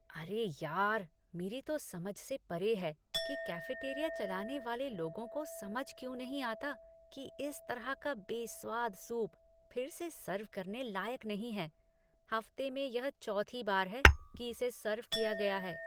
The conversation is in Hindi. अरे यार, मेरी तो समझ से परे है कि कैफेटेरिया चलाने वाले लोगों को समझ क्यों नहीं आता कि इस तरह का बेस्वाद सूप फिर से सर्व करने लायक नहीं है। हफ्ते में यह चौथी बार है कि इसे सर्व किया गया है।